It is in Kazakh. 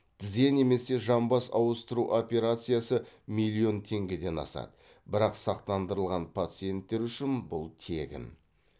тізе немесе жамбас ауыстыру операциясы миллион теңгеден асады бірақ сақтандырылған пациенттер үшін бұл тегін